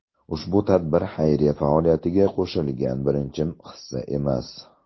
Ushbu tadbir xayriya faoliyatiga qo‘shilgan birinchi hissa emas.